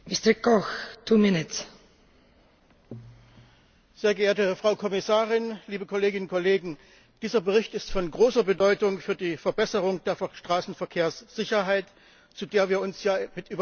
Frau Präsidentin, sehr geehrte Frau Kommissarin, liebe Kolleginnen und Kollegen! Dieser Bericht ist von großer Bedeutung für die Verbesserung der Straßenverkehrssicherheit, zu der wir uns ja mit überwältigender Mehrheit bekannt haben.